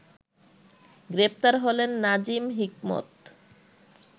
গ্রেপ্তার হলেন নাজিম হিকমত